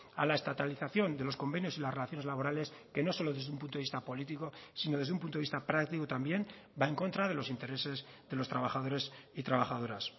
a la estatalización de los convenios y las relaciones laborales que no solo desde un punto de vista político sino desde un punto de vista práctico también va en contra de los intereses de los trabajadores y trabajadoras